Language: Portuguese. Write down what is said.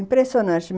Impressionante.